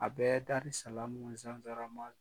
A bɛ darisalamu ni